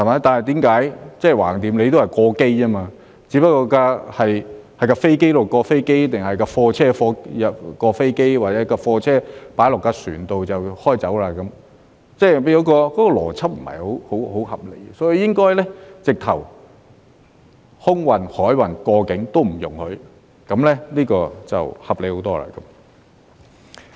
但是，反正都是"過機"，只不過是飛機移至飛機，或者是貨車移至飛機或由貨車移到船上便駛走，即是那個邏輯不是很合理，所以應該直接連空運、海運及過境都不容許，這樣就合理很多。